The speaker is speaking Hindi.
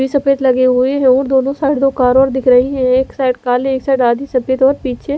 सफेद लगे हुए है और दोनों साइड दो कारो और दिख रही है एक साइड काली और एक साइड आधी सफेद और पीछे--